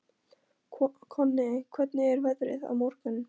Konni, hvernig er veðrið á morgun?